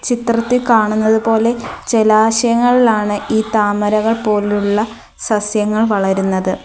ചിത്രത്തിൽ കാണുന്നതുപോലെ ജലാശയങ്ങളിൽ ആണ് ഈ താമരകൾ പോലുള്ള സസ്യങ്ങൾ വളരുന്നത്.